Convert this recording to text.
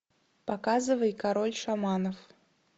показывай король шаманов